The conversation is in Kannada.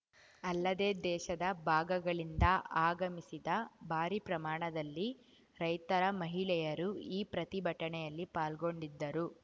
ಅಲ್ಲದೇ ದೇಶದ ಭಾಗಗಳಿಂದ ಆಗಮಿಸಿದ ಭಾರೀ ಪ್ರಮಾಣದಲ್ಲಿ ರೈತರ ಮಹಿಳೆಯರು ಈ ಪ್ರತಿಭಟನೆಯಲ್ಲಿ ಪಾಲ್ಗೊಂಡಿದ್ದರು